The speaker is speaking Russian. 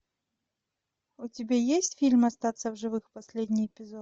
у тебя есть фильм остаться в живых последний эпизод